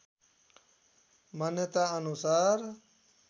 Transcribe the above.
मान्यताअनुसार